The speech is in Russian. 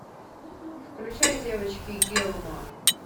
включай девочки гилмор